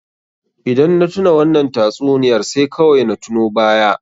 Idan na tuna wannan tatsuniyar sai kawai na tuno baya.